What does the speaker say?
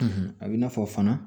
A bɛ i n'a fɔ fana